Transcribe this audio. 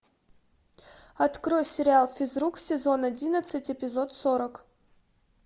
открой сериал физрук сезон одиннадцать эпизод сорок